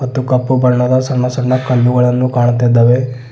ಮತ್ತು ಕಪ್ಪು ಬಣ್ಣದ ಸಣ್ಣ ಸಣ್ಣ ಕಲ್ಲುಗಳನ್ನು ಕಾಣುತ್ತಾ ಇದಾವೆ.